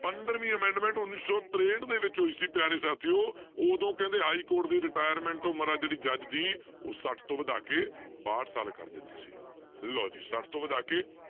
ਪੰਦਰਵੀਂ amendment ਉੱਨੀ ਸੌ ਤਰੇਹਠ ਦੇ ਵਿੱਚ ਹੋਈ ਸੀ ਪਿਆਰੇ ਸਾਥੀਓ ਉਦੋਂ ਕਹਿੰਦੇ ਹਾਈਕੋਰਟ ਦੀ retirement ਉਮਰ ਆ ਜਿਹੜੀ ਜੱਜ ਦੀ ਉਹ ਛੱਠ ਤੋਂ ਵਧਾ ਕੇ ਬਾਹਠ ਸਾਲ ਕਰ ਦਿੱਤੀ ਸੀਗੀ ਲਓ ਜੀ ਛੱਠ ਤੋਂ ਵਧਾ ਕੇ